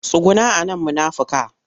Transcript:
Tsuguna a nan munafika!